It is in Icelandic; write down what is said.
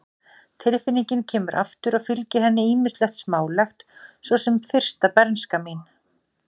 Tilfinningin kemur aftur og fylgir henni ýmislegt smálegt, svo sem fyrsta bernska mín.